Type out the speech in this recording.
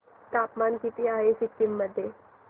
तापमान किती आहे सिक्किम मध्ये